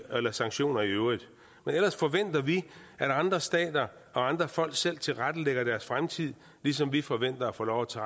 eller sanktioner i øvrigt men ellers forventer vi at andre stater og andre folk selv tilrettelægger deres fremtid ligesom vi forventer at få lov til